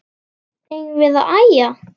Eigum við ekki að æja?